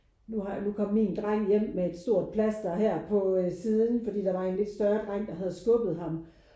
Nu har nu kom min dreng hjem med et stort plaster her på siden fordi der var en lidt større dreng der havde skubbet ham